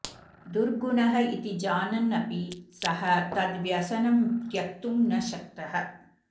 दुर्गुणः इति जानन् अपि सः तद् व्यसनं त्यक्तुं न शक्तः